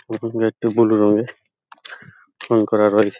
ওপরের গেট -টি বুলু রঙের রং করা রয়েছে |